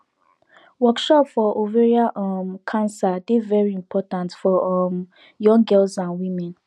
workshop for ovarian um cancer dey very important for um young girls and women